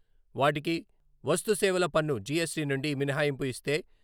వాటికి వస్తుసేవల పన్ను, జి ఎస్ టి నుండి మినహాయింపు యిస్తే...